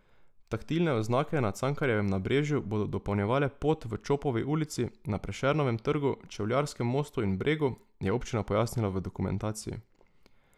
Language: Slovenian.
Taktilne oznake na Cankarjevem nabrežju bodo dopolnjevale pot v Čopovi ulici, na Prešernovem trgu, Čevljarskem mostu in Bregu, je občina pojasnila v dokumentaciji.